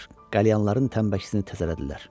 qəlyanların təmbəkisini təzələdilər